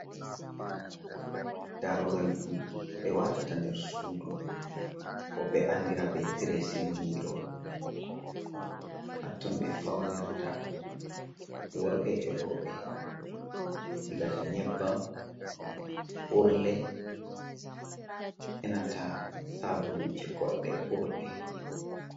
Darugal dum be watata nder sudu bo be andira be dressmirrow hatton be faunirta worbe e robe sigata nyebbam, urle, enanta sabuluje godde urde.